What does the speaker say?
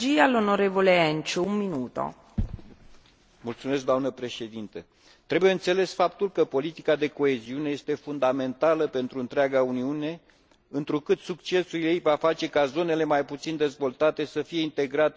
Trebuie înțeles faptul că politica de coeziune este fundamentală pentru întreaga Uniune, întrucât succesul ei va face ca zonele mai puțin dezvoltate să fie integrate în circuite economice și comerciale, spre avantajul tuturor statelor membre.